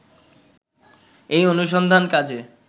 এই অনুসন্ধান কাজে